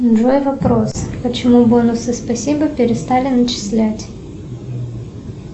джой вопрос почему бонусы спасибо перестали начислять